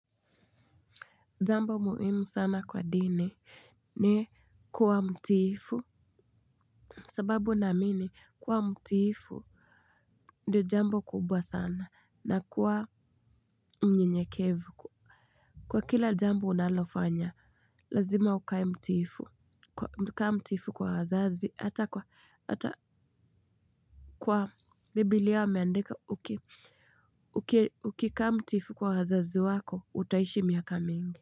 Jambo muhimu sana kwa dini ni kuwa mtiifu. Sababu naamini kuwa mtiifu. Ndio jambo kubwa sana na kuwa mnyenyekevu. Kwa kila jambo unalofanya, lazima ukae mtiifu. Kaa mtifu kwa hazazi, hata kwa, hata kwa biblia wameandika uki, ukikaa mtiifu kwa wazazi wako, utaishi miaka mingi.